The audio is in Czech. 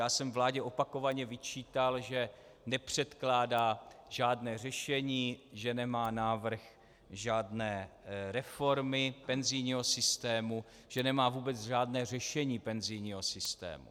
Já jsem vládě opakovaně vyčítal, že nepředkládá žádné řešení, že nemá návrh žádné reformy, penzijního systému, že nemá vůbec žádné řešení penzijního systému.